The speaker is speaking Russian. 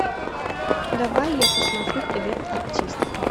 давай я посмотрю привет артист